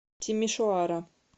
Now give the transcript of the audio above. тимишоара